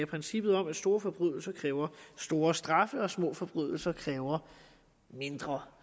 princippet om at store forbrydelser kræver store straffe og at små forbrydelser kræver mindre